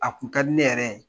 A kun ka di ne yɛrɛ ye